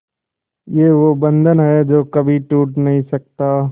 ये वो बंधन है जो कभी टूट नही सकता